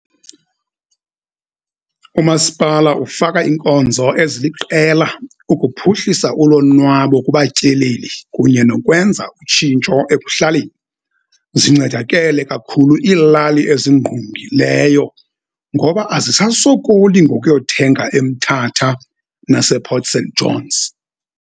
Umasipala ufaka inkonzo eziliqela ukuphuhlisa ulonwabo kubatyeleli kunye nokwenza utshintsho ekuhlaleni. Zincedakele kakhulu ilali ezingqungileyo ngoba azisasokoli ngokuyothenga eMthatha nasePort St Johns.